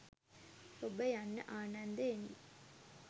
ඔබ යන්න ආනන්දයෙනි